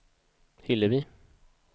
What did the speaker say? Hillevi